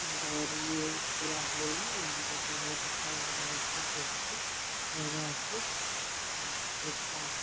और ये पूरा है ना जो की बहुत अच्छा लग रहा है ये सब देख के जगह को और एक सांप --